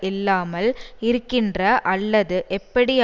இல்லாமல் இருக்கின்ற அல்லது எப்படி